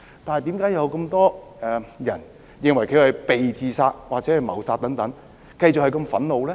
但是，為何這麼多人認為她是被自殺或被謀殺，繼續感到這樣憤怒呢？